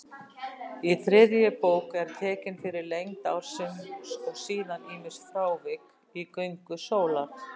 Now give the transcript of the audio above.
Í þriðju bók er tekin fyrir lengd ársins og síðan ýmis frávik í göngu sólar.